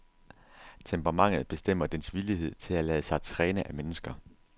Temperamentet bestemmer dens villighed til at lade sig træne af mennesker.